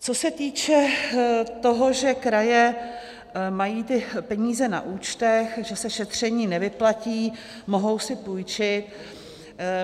Co se týče toho, že kraje mají ty peníze na účtech, že se šetření nevyplatí, mohou si půjčit.